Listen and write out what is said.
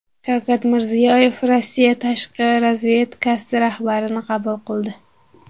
Shavkat Mirziyoyev Rossiya tashqi razvedkasi rahbarini qabul qildi .